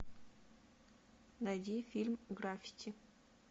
найди фильм граффити